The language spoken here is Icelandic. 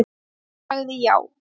Hún sagði já.